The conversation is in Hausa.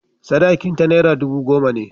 Sadakinta naira dubu goma ne.